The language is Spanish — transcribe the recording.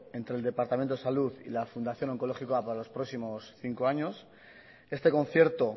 entre el departamento de salud y la fundación onkologikoa para los próximos cinco años este concierto